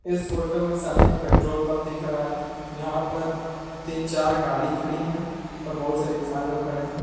इस फोटो में सामने एक पेट्रोल पंप दिख रहा है जहां पर तीन चार गाड़ी खड़ी है और बहुत सारे इंसान लोग खड़े है।